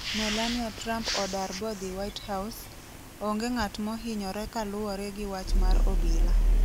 Melania Trump odar bodhi whitehouse, onge ng'at mohinyore kaluwore gi wach mar obila